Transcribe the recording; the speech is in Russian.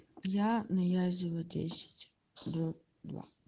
я на язева десять